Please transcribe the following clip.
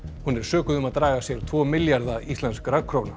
hún er sökuð um að draga sér tvo milljarða íslenskra króna